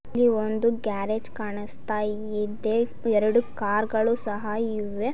ಇಲ್ಲಿ ಒಂದು ಗ್ಯಾರೇಜ್ ಕಾಣಿಸ್ತಾ ಇದ್ದೆ ಎರಡು ಕಾರ್ಗಳು ಸಹ ಇವೆ .